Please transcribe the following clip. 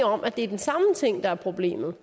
om at det er den samme ting der er problemet